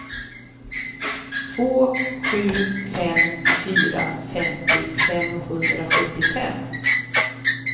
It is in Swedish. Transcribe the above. två sju fem fyra femtio femhundrasjuttiofem